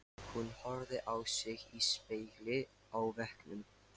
Hún horfði á sig í spegli á veggnum.